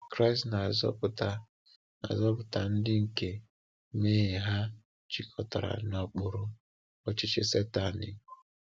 Kraịst na-azọpụta na-azọpụta ndị nke mmehie ha jikọtara n’okpuru ọchịchị Satani.